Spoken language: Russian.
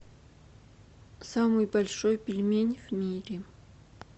самый большой пельмень в мире